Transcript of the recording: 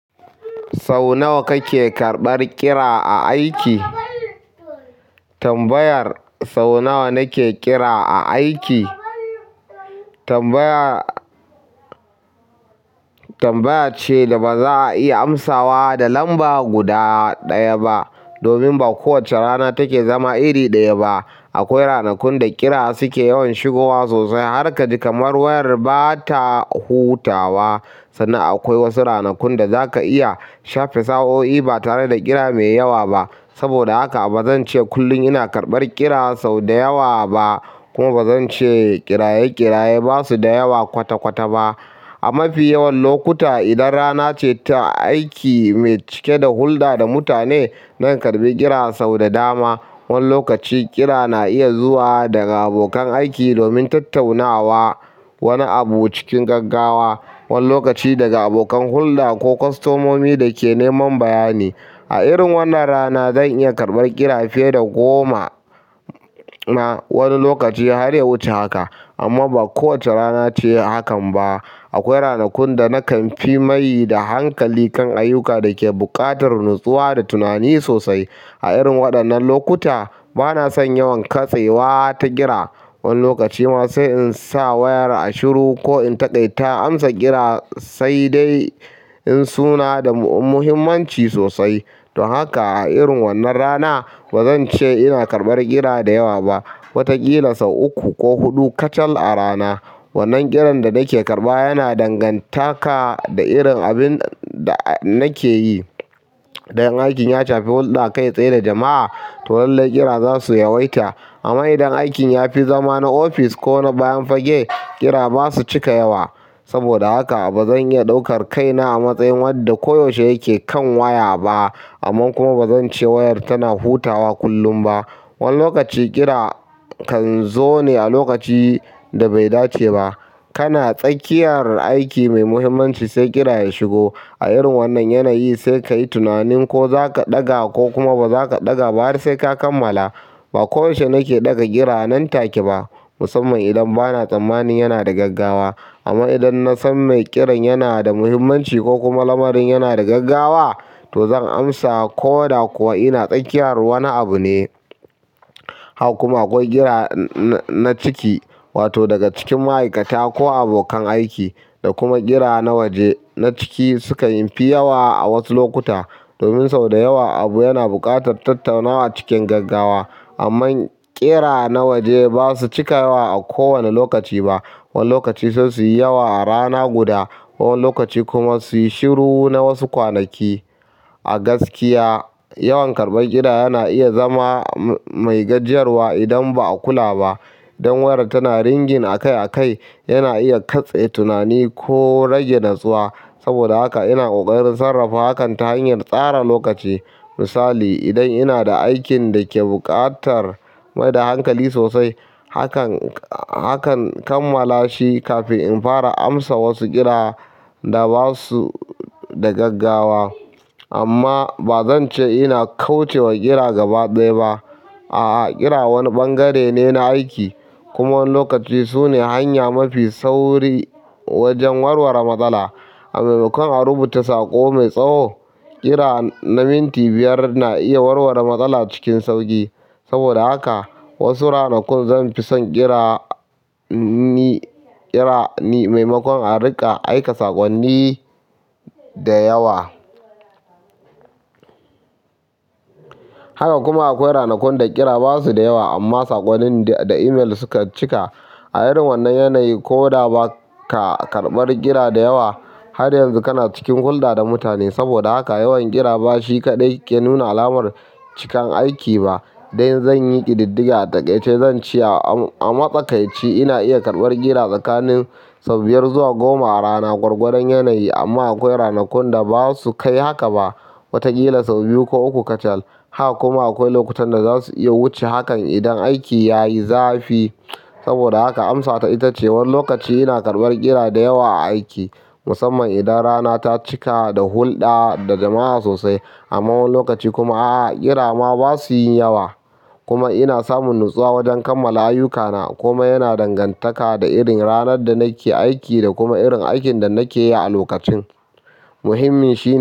Sau nawa kake karɓar ƙira a aiki? Tambayar sau nawa nake ƙira a aiki tambaya, tanbaya ce daba za a iya amsawa da lamba guda ɗaya ba domin ba kowacce rana take zama iri ɗaya ba. Akwai ranakun da ƙira suke yawan shigowa sosai harkaji kaman wayar bata hutawa. Sannan akwai wasu ranakun da zaka iya shafe sa'o'i ba tare da ƙira mai yawa ba. Saboda haka bazan ce kullum ina karɓar ƙira sau da yawa ba, kuma bazan ce ƙiraye-ƙiraye basu da yawa kwata-kwata ba. A mafi yawan lokuta, idan rana ce ta aiki mai cike da hulɗa da mutane, zan karɓi ƙira sau da dama. Wani lokaci ƙira na iya zuwa daga abokan aiki domin tattaunawa wani abu cikin gaggawa, wani lokaci daga abokan hulɗa ko kwastomomi da ke neman bayani. A irin wannan rana zan iya karɓar ƙira fiye da goma wani lokaci har ya wuce haka. Amma ba kowace rana ce hakan ba. Akwai ranakun da nakan fi maidaeda hankali kan ayyuka da ke buƙatar natsuwa da tunani sosai. A irin waɗannan lokuta bana son yawan katsewa ta ƙira. Wani lokaci ma sai in sa wayar a shiru ko in takaita amsa ƙira sai dai sunada muhimmanci sosai don haka a irin wannan rana bazan ce ina karɓar ƙira da yawa ba. Watakila sau uku ko huɗu kacal a rana. Wannan ƙiran da nake karɓa yana dangantaka da irin abin da nake yi. Idan aikin ya shafi hulɗa kai tsaye da jama'a, to lallai ƙira za su yawaita. Amma idan aikin ya fi zama na ofis ko na bayan fage, ƙira ba su cika yawa saboda haka bazan iya ɗaukar kaina a matsayin wadda koyaushe yake kan waya ba. Amma kuma bazan ce wayar tana hutawa kullum ba. Wani lokaci ƙira kan zo ne a lokaci da bai dace ba. Kana tsakiyar aiki mai muhimmanci sai ƙira ya shigo. A irin wannan yanayi sai kayi tunanin ko zaka ɗaga ko kuma bazaka ɗaga ba har sai ka kammala. Ba koyaushe nake ɗaga ƙira nan take ba, musamman idan bana tsammani yana da gaggawa. Amma idan na san mai ƙiran yana da muhimmanci ko kuma lamarin yana da gaggawa, to zan amsa ko da kuwa ina tsakiyar wani abu ne. Haka kuma akwai ƙira na ciki, wato daga cikin ma'aikata ko abokan aiki, da kuma ƙira na waje. Na ciki sukan fi yawa a wasu lokuta domin sau da yawa abu yana buƙatar tattaunawa cikin gaggawa. Amman ƙira na waje basu cika yawa a kowane lokaci ba wani lokaci sai su yi yawa a rana guda, wani lokaci kuma su yi shiru na wasu kwanaki. A gaskiya, yawan karɓar ƙira yana iya zama mai gajiyarwa idan ba a kula ba. Dan wayar tana ringin akai-akai yana iya katse tunani ko rasmge natsuwa. Saboda haka ina ƙoƙarin sarrafa hakan ta hanyar tsara lokaci. Misali, idan ina da aikin da ke buƙatar maida hankali sosai, hakan, hakan kammala shi kafin in fara amsa wasu ƙira da basu da gaggawa. Amma bazan ce ina kauce wa ƙira gaba ɗaya ba. A'a, ƙira wani bangare ne na aiki kuma wani lokaci sune hanya mafi sauri wajen warware matsala. Maimakon a rubuta sako mai tsawo, ƙira na minti biyar na iya warware matsala cikin sauƙi. Saboda haka wasu ranakun zan fi son ƙira ni, maimakon a riƙa aika sakonni da yawa. Haka kuma akwai ranakun da ƙira basu da yawa amma saƙonnin da email suka cika. A irin wannan yanayi ko da ba ka karɓar ƙira da yawa, har yanzu kana cikin hulɗa da mutane. Saboda haka yawan ƙira ba shi kaɗai ke nuna alamar cikin aiki ba. Idan zan yi ƙididdiga a taƙaice zan ce a, a matsakaici ina iya karɓar ƙira tsakanin sau biyar zuwa goma a rana gwargwadon yanayi. Amma akwai ranakun da basu kai haka ba. Watakila sau biyu ko uku kacal. Haka kuma akwai lokutan da zasu iya wuce hakan idan aiki yayi zafi saboda haka amsata ita ce wani lokaci ina karɓar ƙira da yawa a aiki, musamman idan rana ta cika da hulɗa da jama'a sosai. Amma wani lokaci kuma a'a, ƙira ma basu yi yawa. Kuma ina samun natsuwa wajen kammala ayyukana kuma yana dangantaka da irin ranar da nake aiki da kuma irin aikin da nake yi a lokacin. Muhimmin shi.